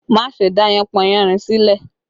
Má ṣe dá yánpọnyánrin sílẹ̀!